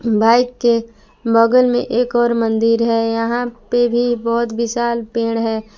Bike के बगल में एक और मंदिर है यहां पर भी बहुत विशाल पेड़ है।